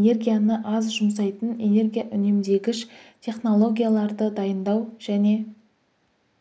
энергияны аз жұмсайтын энергия үнемдегіш технологияларды дайындау және